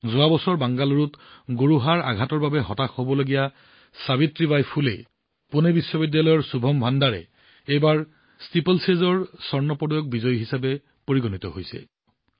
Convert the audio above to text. যোৱা বছৰ বেংগালুৰুত গোৰোহাৰ আঘাতৰ বাবে হতাশাৰ সন্মুখীন হোৱা সাবিত্ৰীবাই ফুলে পুনে বিশ্ববিদ্যালয়ৰ শুভম ভাণ্ডাৰে এইবাৰ ষ্টিপলেচেজৰ স্বৰ্ণ পদক বিজয়ী হিচাপে পৰিগণিত হৈছে